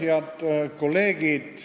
Head kolleegid!